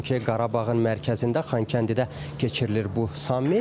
Çünki Qarabağın mərkəzində Xankəndidə keçirilir bu sammit.